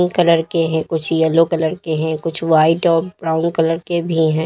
Colour के हैं कुछ येलो कलर के हैं कुछ व्हाइट और ब्राउन कलर के भी है।